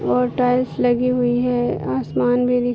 और टाईल्‍स लगी हुई है आसमान भी दिख --